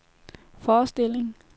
forestilling